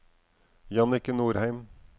Jannicke Nordheim